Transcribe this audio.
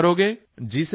ਪੱਕਾ ਕਰੋਗੇ